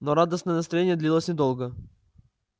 но радостное настроение длилось недолго